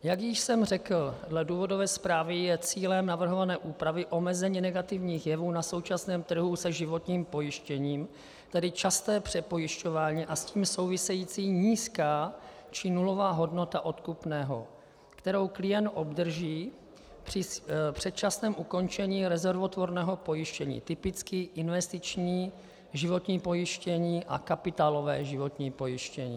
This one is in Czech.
Jak již jsem řekl, dle důvodové zprávy je cílem navrhované úpravy omezení negativních jevů na současném trhu se životním pojištěním, tedy časté přepojišťování a s tím související nízká či nulová hodnota odkupného, kterou klient obdrží při předčasném ukončení rezervotvorného pojištění, typicky investiční životní pojištění a kapitálové životní pojištění.